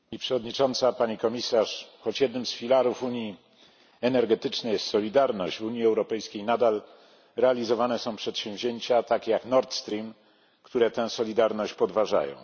Pani Przewodnicząca! Choć jednym z filarów unii energetycznej jest solidarność, w Unii Europejskiej nadal realizowane są takie przedsięwzięcia jak Nord Stream, które tę solidarność podważają.